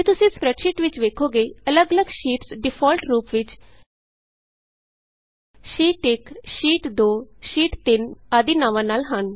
ਜੇ ਤੁਸੀਂ ਸਪਰੈੱਡਸ਼ੀਟ ਵਿਚ ਵੇਖੋਗੇ ਅੱਲਗ ਅੱਲਗ ਸ਼ੀਟਸ ਡਿਫਾਲਟ ਰੂਪ ਵਿਚ sheet 1 sheet 2 sheet 3 sheet 1 sheet 2 sheet 3 ਆਦਿ ਨਾਂਵਾਂ ਨਾਲ ਹਨ